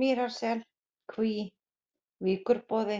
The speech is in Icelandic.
Mýrarsel, Kví, Víkurboði,